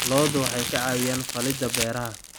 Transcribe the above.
Lo'du waxay ka caawiyaan falidda beeraha.